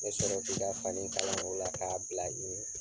Me sɔrɔ k'i ka fani kala o la k'a bila i ɲɛ.